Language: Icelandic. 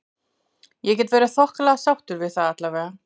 Ég get verið þokkalega sáttur við það allavega.